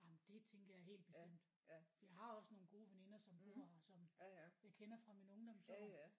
Nej men det tænker jeg helt bestemt. Jeg har også nogle gode veninder som bor her som jeg kender fra mine ungdomsår